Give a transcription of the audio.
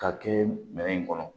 K'a kɛ minɛn in kɔnɔ